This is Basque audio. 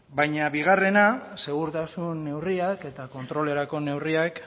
baina bigarrena segurtasun neurriak eta kontrolerako neurriak